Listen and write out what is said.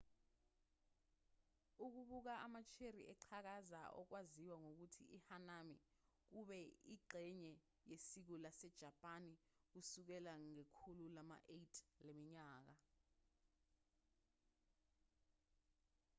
ukubuka ama-cherry eqhakaza okwaziwa ngokuthi i-hanami kube ingxenye yesiko lasejapani kusukela ngekhulu lama-8 leminyaka